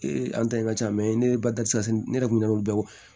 an ta in ka ca mɛ ne ye basisi ne yɛrɛ kun bɛ weele